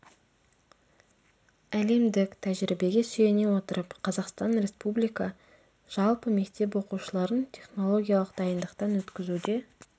әлемдік тәжірибеге сүйене отырып қазақстан республика жалпы мектеп оқушыларын технологиялық дайындықтан өткізуде